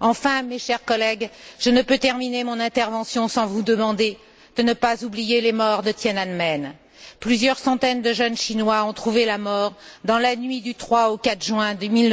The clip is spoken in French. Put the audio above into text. Enfin, mes chers collègues, je ne peux terminer mon intervention sans vous demander de ne pas oublier les morts de Tiananmen, plusieurs centaines de jeunes Chinois ont trouvé la mort dans la nuit du 3 au 4 juin de